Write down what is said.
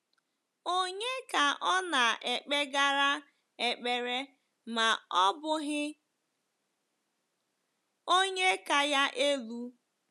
Ònye ka ọ naekpegara ekpere ma ọ bụghị Onye ka ya elu?